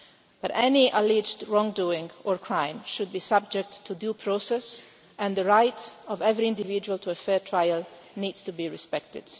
But any alleged wrongdoing or crime should be subject to due process, and the right of every individual to a fair trial needs to be respected.